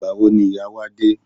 Ìgbà wo ni ìyá wa dé?